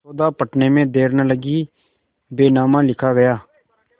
सौदा पटने में देर न लगी बैनामा लिखा गया